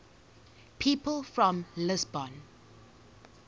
people from lisbon